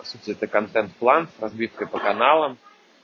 по сути это контент план с разбивкой по каналам